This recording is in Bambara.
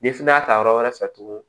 Ni fana y'a ta yɔrɔ wɛrɛ fɛ tugun